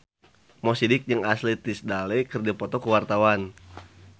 Mo Sidik jeung Ashley Tisdale keur dipoto ku wartawan